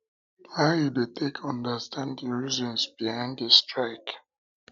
how you dey take understand di reasons behind di strike